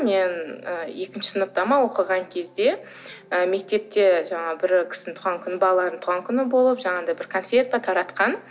мен ы екінші сыныпта ма оқыған кезде ы мектепте жаңағы бір кісінің туған күні балалардың туған күні болып жаңағындай бір конфет пе таратқан